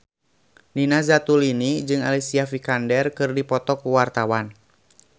Nina Zatulini jeung Alicia Vikander keur dipoto ku wartawan